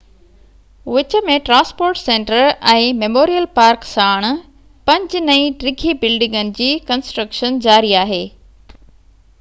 وچ ۾ transport centre ۽ memorial park ساڻ پنج نئي ڊگهي بلڊنگن جي ڪنسٽرڪشن جاري آهي